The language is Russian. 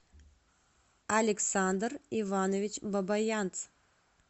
александр иванович бабаянц